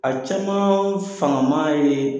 A caman faaman ye